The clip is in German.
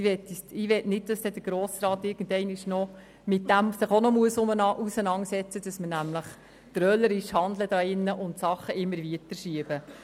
Ich möchte nicht, dass sich der Grosse Rat irgendwann damit auseinandersetzen muss, weil wir Sachen immer weiter aufschieben.